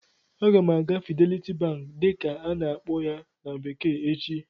Aga m aga "Fidelity bank" dịka a-na akpọ ya na bekee echi